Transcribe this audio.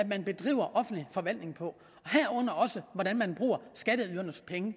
man bedriver offentlig forvaltning på herunder også hvordan man bruger skatteydernes penge